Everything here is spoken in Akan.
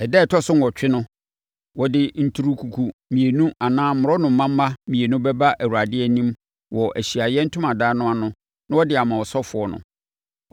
Ɛda a ɛtɔ so nwɔtwe no, ɔde nturukuku mmienu anaa mmorɔnoma mma mmienu bɛba Awurade anim wɔ Ahyiaeɛ Ntomadan no ano na ɔde ama ɔsɔfoɔ no.